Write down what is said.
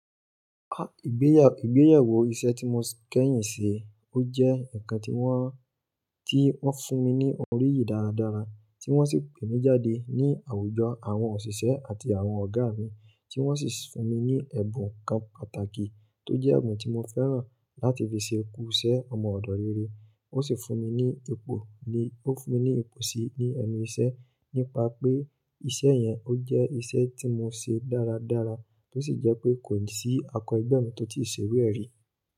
Ah, ìgbéyàwó, ìgbéyàwó iṣẹ́ tí mo kẹ́yìn ṣe, ó jẹ́ ǹkan tí wọ́n, tí wọ́n fún mi ní oríyìí dáradára, tí wọ́n sì pè mí jáde ní àwùjọ àwọn òṣìṣẹ́ àti àwọn ọ̀gá mi tí wọ́n sì fún mi ní ẹ̀bùn kan pàtàkì tó jẹ́ ẹ̀bùn tí mo fẹ́ràn láti fi ṣe ku iṣẹ́ ọmọ ọ̀dọ́ rere. Ó sì fún mi ní ipò ni, ó fún mi ní ipò síí ní ẹnu iṣẹ́ nípa pé iṣẹ́ yẹn ó jẹ́ iṣẹ́ tí mo ṣe dáradára tó sì jẹ́ pé kò sí akọ́ ẹgbẹ́ mi tó ti ṣe rí rẹ̀ rí.